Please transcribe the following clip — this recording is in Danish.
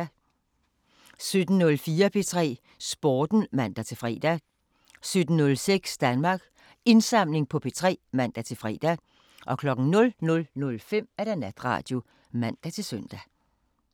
17:04: P3 Sporten (man-fre) 17:06: Danmarks Indsamling på P3 (man-fre) 00:05: Natradio (man-søn)